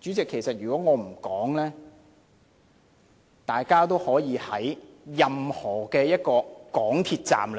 主席，如果我不說，大家都可以在任何一個港鐵站